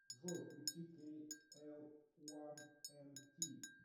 джой включи кей эл уан эн ти